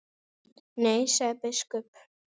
Nei, sagði biskup.